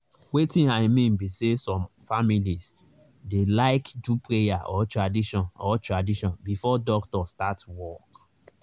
wetin i mean be say some families dey like do prayer or tradition or tradition before doctor start work.